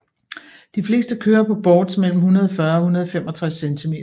De fleste kører på boards mellem 140 og 165cm